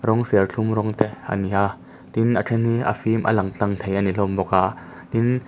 rawng serthlum rawng te a ni a tin a then hi a fîm a lang tlâng thei ani hlawm bawk a tin.